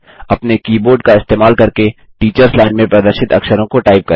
अपने कीबोर्ड का इस्तेमाल करके टीचर्स लाइन में प्रदर्शित अक्षरों को टाइप करें